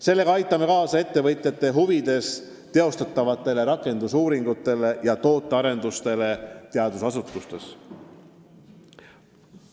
Sellega aitame kaasa ettevõtjate huvides teostatavatele rakendusuuringutele ja tootearendusele teadusasutustes.